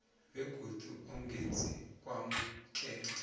begodu angeze kwamukelwa